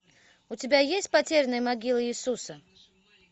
у тебя есть потерянная могила иисуса